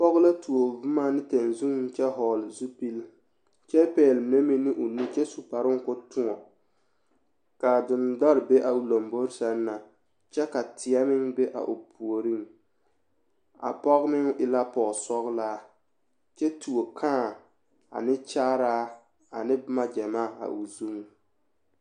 Pɔge la tuo boma ne tɛnzuŋ kyɛ vɔgle zupili kyɛ pɛgle mine meŋ ne o nu kyɛ su kparoo k,o toɔ k,a dendore be a o lambori seŋ na kyɛ ka teɛ meŋ be a o puoriŋ a pɔge meŋ e la pɔgesɔglaa kyɛ tuo kãã a ne kyaaraa ane boma gyamaa a o zuŋ.